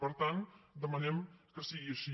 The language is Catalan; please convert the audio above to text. per tant demanem que sigui així